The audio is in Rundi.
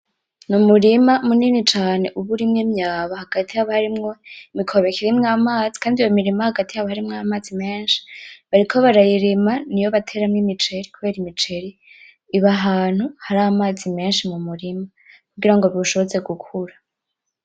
Numurima munini cane uba urimwo imyaba hagati haba harimwo imikobeko irimwo amazi kandi iyo mirima hagati hari amazi menshi bariko barayirima niyo bateramwo imiceri kubera iba hantu hari amazi menshi mumurima kugirango biwushoboze gukura.